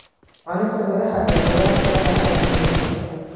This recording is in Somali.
Cunista miraha iyo khudaarta waxay caawisaa jidhka.